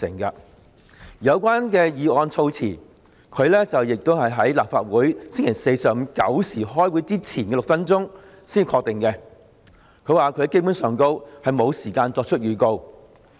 而有關議案的措辭，他亦是在立法會星期四上午9時開會前的6分鐘才確定，他說自己基本上沒有時間作出預告。